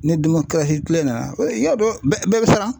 Ni kile nana i y'a dɔn bɛɛ bɛ siran.